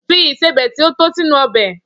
Fi ìsebẹ̀ ti o to sínú ọbẹ́!